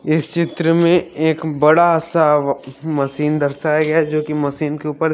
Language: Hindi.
इस चित्र में एक बड़ा सा व मशीन दर्शाया गया है जो की मशीन के ऊपर--